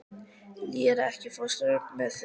Lér, ekki fórstu með þeim?